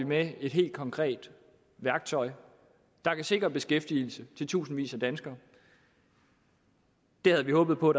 med et helt konkret værktøj der kan sikre beskæftigelse til tusindvis af danskere det havde vi håbet på